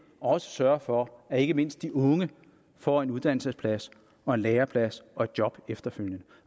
også sørge for at ikke mindst de unge får en uddannelsesplads og en læreplads og et job efterfølgende